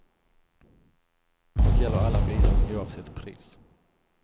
Och gäller alla bilar oavsett pris.